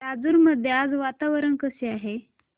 राजूर मध्ये आज वातावरण कसे आहे